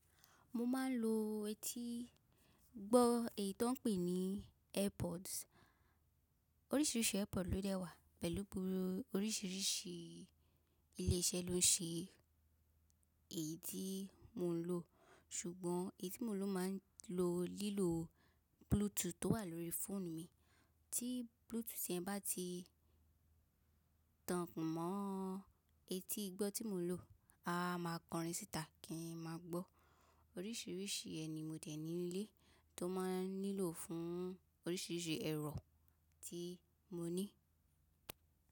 Mo máa ń lo etí gbọ́, èyí tí wọ́n pè ní AirPods. Oríṣiríṣi AirPods ló dẹ́ wà pẹ̀lú bu ọríṣiríṣi ilé iṣẹ́ ló ń ṣe èyí tí mo ń lò. Ṣùgbọ́n èyí tí mo lò máa ń lo lílo Bluetooth tó wà lórí fóònù mi. Tí Bluetooth yẹn bá ti tán mọ́ etí gbọ́ tí mo ń lò, a máa kọrin síta kí n má gbọ́. Oríṣiríṣi ẹ ni mo dẹ̀ ní ilé tó máa nílò fún oríṣiríṣi ẹ̀rọ tí mo ní.